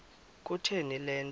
kutheni le nto